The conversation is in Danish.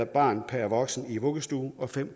barn per voksen i vuggestuer og fem